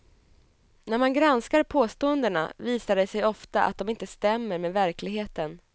När man granskar påståendena visar det sig ofta att de inte stämmer med verkligheten.